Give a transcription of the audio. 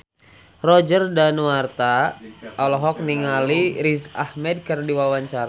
Roger Danuarta olohok ningali Riz Ahmed keur diwawancara